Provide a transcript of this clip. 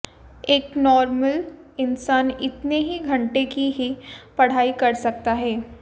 एक नॉर्मल इंसान इतने ही घंटे की ही पढ़ाई कर सकता है